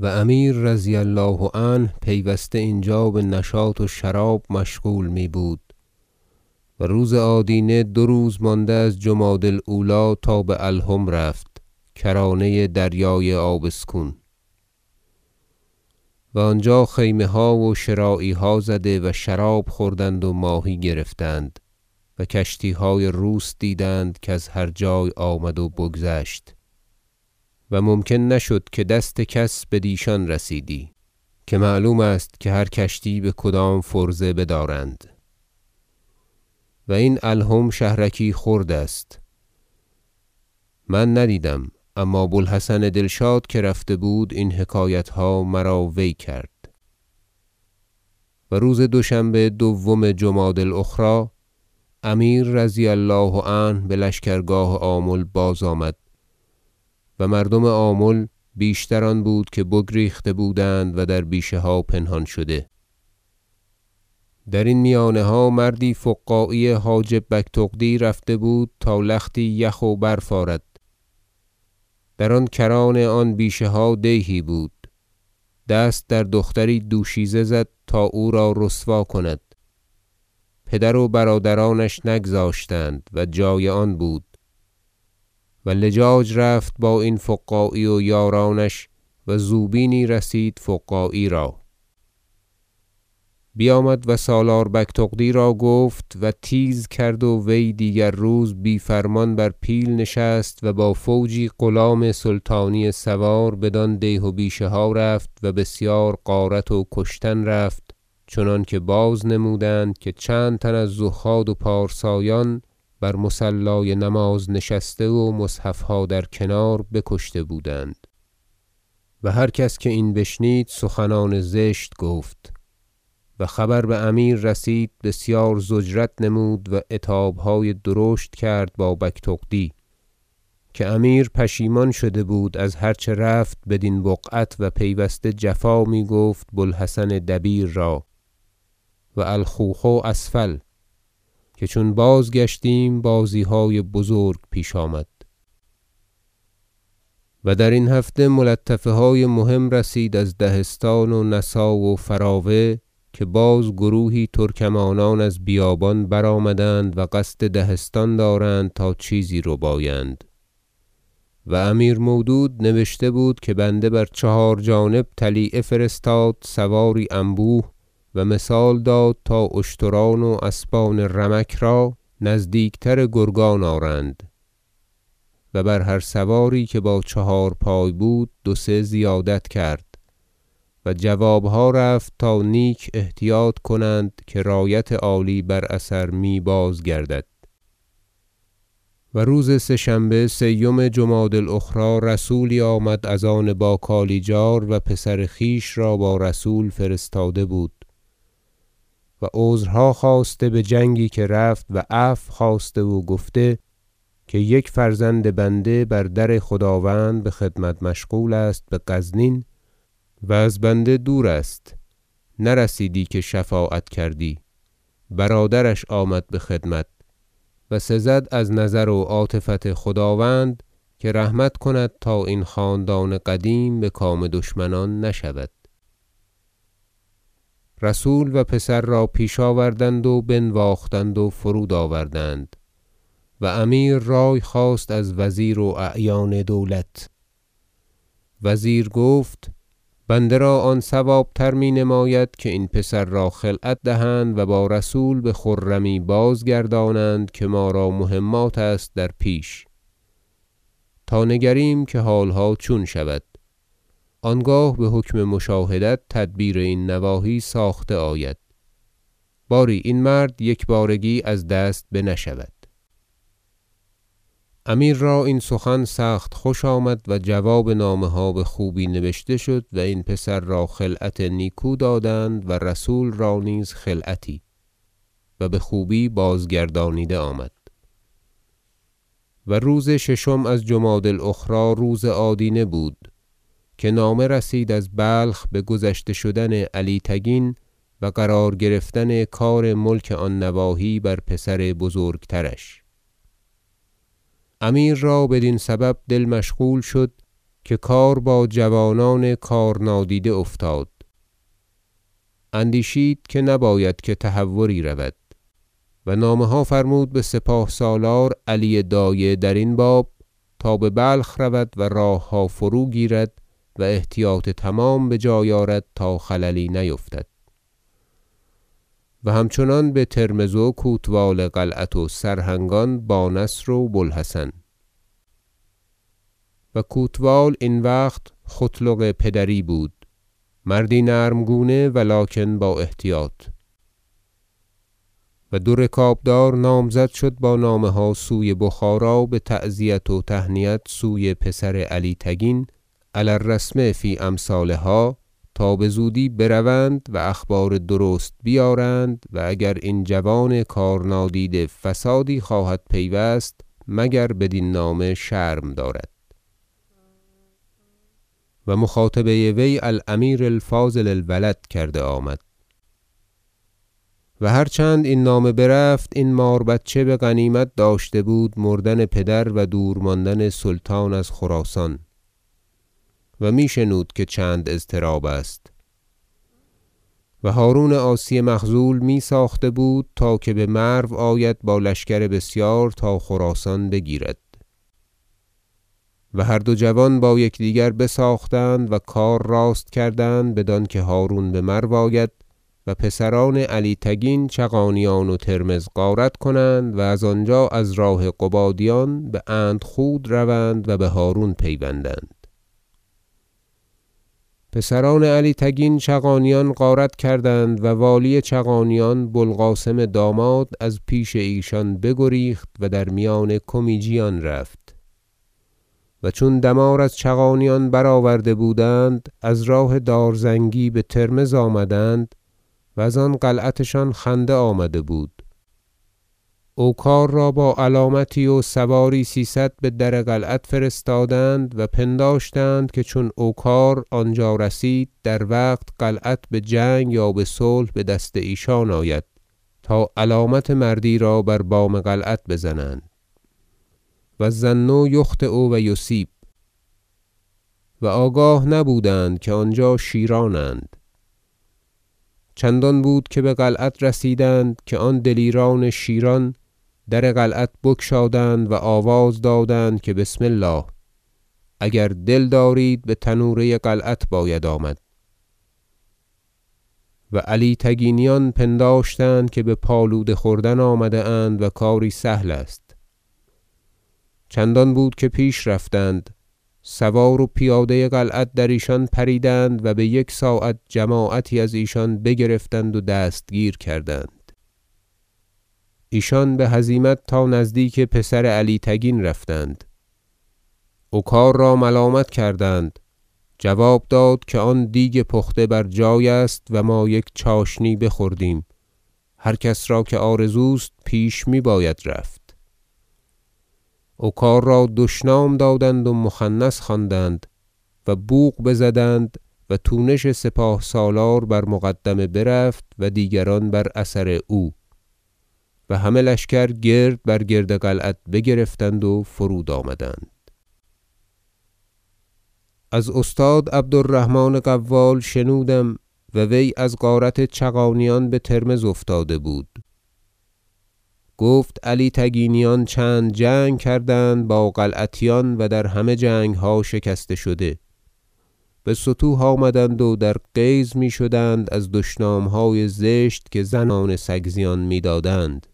و امیر رضی الله عنه پیوسته اینجا بنشاط و شراب مشغول می بود و روز آدینه دو روز مانده از جمادی الاولی تا به الهم رفت کرانه دریای آبسکون و آنجا خیمه ها و شراعها زدند و شراب خوردند و ماهی گرفتند و کشتیهای روس دیدند کز هر جای آمد و بگذشت و ممکن نشد که دست کس بدیشان رسیدی که معلوم است که هر کشتی بکدام فرضه بدارند و این الهم شهرکی خرد است من ندیدم اما بو الحسن دلشاد که رفته بود این حکایتها مرا وی کرد و روز دوشنبه دوم جمادی الاخری امیر رضی الله عنه بلشکرگاه آمل بازآمد و مردم آمل بیشتر آن بود که بگریخته بودند و در بیشه ها پنهان شده درین میانها مردی فقاعی حاجب بگتغدی رفته بود تا لختی یخ و برف آرد در آن کران آن بیشه ها دیهی بود دست در دختری دوشیزه زد تا او را رسوا کند پدر و برادرانش نگذاشتند و جای آن بود و لجاج رفت با این فقاعی و یارانش و زوبینی رسید فقاعی را بیامد و سالار بگتغدی را گفت و تیز کرد و وی دیگر روز بی فرمان بر پیل نشست و با فوجی غلام سلطانی سوار بدان دیه و بیشه ها رفت و بسیار غارت و کشتن رفت چنانکه بازنمودند که چند تن از زهاد و پارسایان بر مصلای نماز نشسته و مصحفها در کنار بکشته بودند و هر کس که این بشنید سخنان زشت گفت و خبر بامیر رسید بسیار ضجرت نمود و عتابهای درشت کرد با بگتغدی که امیر پشیمان شده بود از هر چه رفت بدین بقعت و پیوسته جفا میگفت بوالحسن دبیر را و الخوخ اسفل که چون بازگشتیم بازیهای بزرگ پیش آمد و درین هفته ملطفه های مهم رسید از دهستان و نسا و فراوه که باز گروهی ترکمانان از بیابان برآمدند و قصد دهستان دارند تا چیزی ربایند و امیر مودود نبشته بود که بنده بر چهار جانب طلیعه فرستاد سواری انبوه و مثال داد تا اشتران و اسبان رمک را نزدیک تر گرگان آرند و بر هر سواری که با چهارپای بود دو سه زیادت کرد و جوابها رفت تا نیک احتیاط کنند که رایت عالی بر اثر می بازگردد و روز سه شنبه سیم جمادی الاخری رسولی آمد از آن با کالیجار و پسر خویش را با رسول فرستاده بود و عذرها خواسته بجنگی که رفت و عفو خواسته و گفته که یک فرزند بنده بر در خداوند بخدمت مشغول است بغزنین و از بنده دور است نرسیدی که شفاعت کردی برادرش آمد بخدمت و سزد از نظر و عاطفت خداوند که رحمت کند تا این خاندان قدیم بکام دشمنان نشود رسول و پسر را پیش آوردند و بنواختند و فرود آوردند و امیر رای خواست از وزیر و اعیان دولت وزیر گفت بنده را آن صوابتر مینماید که این پسر را خلعت دهند و با رسول بخرمی بازگردانند که ما را مهمات است در پیش تا نگریم که حالها چون شود آنگاه بحکم مشاهدت تدبیر این نواحی ساخته آید باری این مرد یکبارگی از دست بنشود امیر را این سخن سخت خوش آمد و جواب نامه ها بخوبی نبشته شد و این پسر را خلعت نیکو دادند و رسول را نیز خلعتی و بخوبی بازگردانیده آمد و روز ششم از جمادی الاخری روز آدینه بود که نامه رسید از بلخ بگذشته شدن علی تگین و قرار گرفتن کار ملک آن نواحی بر پسر بزرگترش امیر را بدین سبب دل مشغول شد که کار با جوانان کارنادیده افتاد اندیشید که نباید که تهوری رود و نامه ها فرمود بسپاه سالار علی دایه درین باب تا ببلخ رود و راهها فروگیرد و احتیاط تمام بجای آرد تا خللی نیفتد و همچنان بترمذ و کوتوال قلعت و سرهنگان با نصر و بوالحسن و کوتوال این وقت ختلغ پدری بود مردی نرم گونه ولکن با احتیاط و دو رکابدار نامزد شد با نامه ها سوی بخارا بتعزیت و تهنیت سوی پسر علی تگین علی الرسم فی امثالها تا بزودی بروند و اخبار درست بیارند و اگر این جوان کار- نادیده فسادی خواهد پیوست مگر بدین نامه شرم دارد و مخاطبه وی الامیر الفاضل الولد کرده آمد و هر چند این نامه برفت این ماربچه بغنیمت داشته بود مردن پدرش و دور ماندن سلطان از خراسان و می شنود که چند اضطراب است و هرون عاصی مخذول میساخته بود که بمرو آید با لشکر بسیار تا خراسان بگیرد و هر دو جوان با یکدیگر بساختند و کار راست کردند بدانکه هرون بمرو آید و پسران علی تگین چغانیان و ترمذ غارت کنند و زآنجا از راه قبادیان باندخود روند و بهرون پیوندند پسران علی تگین چغانیان غارت کردند و والی چغانیان بوالقاسم داماد از پیش ایشان بگریخت و در میان کمیجیان رفت و چون دمار از چغانیان برآورده بودند از راه دارزنگی بترمذ آمدند و زان قلعتشان خنده آمده بود او کار را با علامتی و سواری سیصد بدر قلعت فرستادند و پنداشتند که چون او کار آنجا رسید در وقت قلعت بجنگ یا بصلح بدست ایشان آید تا علامت مردیرا بر بام قلعت بزنند و الظن یخطی و یصیب و آگاه نبودند که آنجا شیرانند چندان بود که بقلعت رسیدند که آن دلیران شیران در قلعت بگشادند و آواز دادند که بسم الله اگر دل دارید بتنوره قلعت باید آمد و علی تگینیان پنداشتند که بپالوده خوردن آمده اند و کاری سهل است چندان بود که پیش رفتند سواره و پیاده قلعت در ایشان پریدند و بیک ساعت جماعتی از ایشان بگرفتند و دستگیر کردند ایشان بهزیمت تا نزدیک پسر علی تگین رفتند او کار را ملامت کردند جواب داد که آن دیگ پخته بر جای است و ما یک چاشنی بخوردیم هر کس را که آرزوست پیش میباید رفت اوکار را دشنام دادند و مخنث خواندند و بوق بزدند و تونش سپاه سالار بر مقدمه برفت و دیگران بر اثر او و همه لشکر گرد بر گرد قلعت بگرفتند و فرود آمدند شکست پسران علی تگین از استاد عبد الرحمن قوال شنودم و وی از غارت چغانیان بترمذ افتاده بود گفت علی تگینیان چند جنگ کردند با قلعتیان و در همه جنگها شکسته شده بستوه آمدند و در غیظ میشدند از دشنامهای زشت که زنان سگزیان میدادند